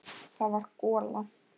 Það var gola.